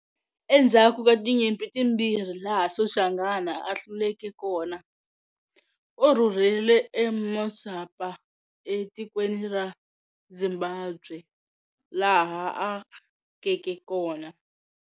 Endzaku ka tinyimpi timbirhi laha Soshangana a hluleke kona, u rhurhele e Musapa e tikweni ra Zimbabwe laha a akeke kona.